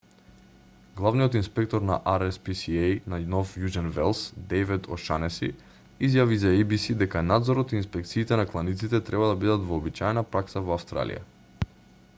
главниот инспектор на rspca на нов јужен велс дејвид ошанеси изјави за еј-би-си дека надзорот и инспекциите на кланиците треба да бидат вообичаена пракса во австралија